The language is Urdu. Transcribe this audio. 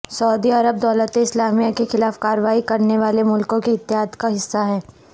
سعودی عرب دولت اسلامیہ کے خلاف کارروائی کرنے والے ملکوں کے اتحاد کا حصہ ہے